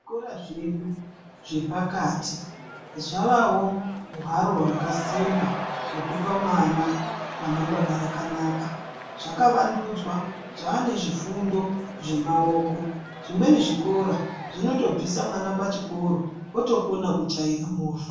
Zvikora zvedu zvepakati, zvavawo hharo yakasimba yokupa mwana ramangwana rakanaka. Zvakavandudzwa , zvanezvifundo zvemawoko. Zvimweni zvikora zvinotobvisa mwana pachikoro otokona kuchaira mova.